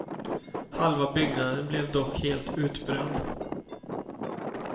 Halva byggnaden blev dock helt utbränd.